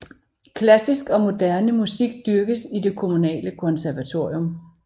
Klassisk og moderne musik dyrkes i det kommunale konservatorium